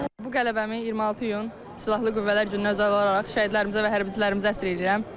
Bu qələbəmi 26 iyun Silahlı Qüvvələr gününə özəl olaraq şəhidlərimizə və hərbçilərimizə həsr eləyirəm.